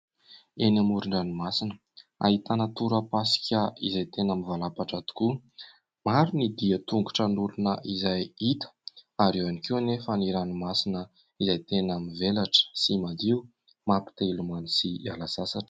Eny amoron-dranomasina. Ahitana torapasika izay tena mivalapatra tokoa. Maro ny dian-tongotra an'olona izay hita ary eo ihany koa anefa ny ranomasina izay tena mivelatra sy madio mapite hilomano sy hiala sasatra